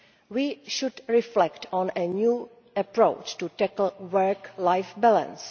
We should reflect on a new approach to tackling work life balance.